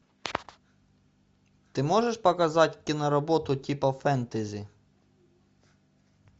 ты можешь показать киноработу типа фэнтези